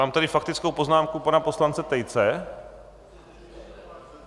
Mám tady faktickou poznámku pana poslance Tejce.